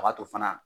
A b'a to fana